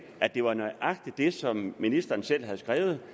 at det var nøjagtig det som ministeren selv havde skrevet